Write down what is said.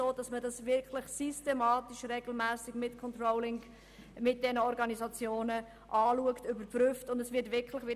Diese Zusammenarbeit wird mit den beteiligten Organisationen regelmässig angeschaut, und es werden Controllings durchgeführt.